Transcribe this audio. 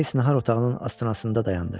Qreys nahar otağının astanasında dayandı.